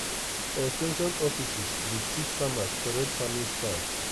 ex ten sion offices dey teach farmers correct farming style.